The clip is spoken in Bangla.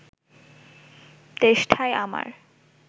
তেষ্টায় আমার